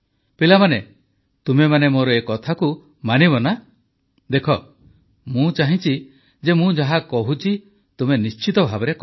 ପିଲାମାନେ ତୁମେମାନେ ମୋର ଏ କଥାକୁ ମାନିବ ନା ଦେଖ ମୁଁ ଚାହଁଛି ଯେ ମୁଁ ଯାହା କହୁଛି ତୁମେ ନିଶ୍ଚିତ ଭାବେ କର